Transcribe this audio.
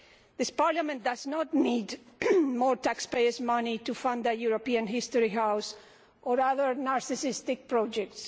This Parliament does not need more taxpayers' money to fund a European History House or other narcissistic projects.